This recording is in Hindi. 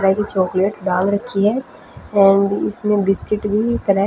गलाई हुई चॉकलेट डाल रखी है एंड इसमें बिस्किट भी--